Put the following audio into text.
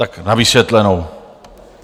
Tak na vysvětlenou.